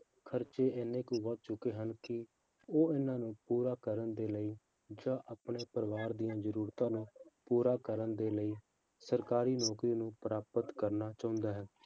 ਖਰਚੇ ਇੰਨੇ ਕੁ ਵੱਧ ਚੁੱਕੇ ਹਨ ਕਿ ਉਹ ਇਹਨਾਂ ਨੂੰ ਪੂਰਾ ਕਰਨ ਦੇ ਲਈ ਜਾਂ ਆਪਣੇ ਪਰਿਵਾਰ ਦੀਆਂ ਜ਼ਰੂਰਤਾਂ ਨੂੰ ਪੂਰਾ ਕਰਨ ਦੇ ਲਈ ਸਰਕਾਰੀ ਨੌਕਰੀ ਨੂੰ ਪ੍ਰਾਪਤ ਕਰਨਾ ਚਾਹੁੰਦਾ ਹੈ